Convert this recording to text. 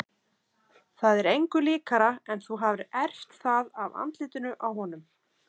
Það er engu líkara en þú hafir erft það af andlitinu á honum.